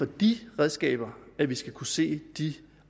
de redskaber vi skal kunne se de